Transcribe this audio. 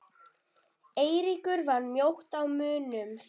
Eiríkur var mjótt á munum?